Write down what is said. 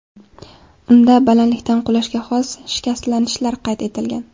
Unda balandlikdan qulashga xos shikastlanishlar qayd etilgan.